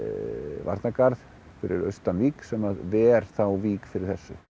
varnargarð fyrir austan Vík sem að ver þá Vík fyrir þessu